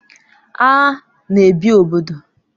Agha na ebi obodo